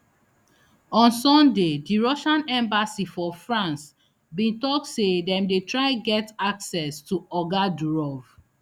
on sunday di russian embassy for france bin tok say dem dey try get access to oga durov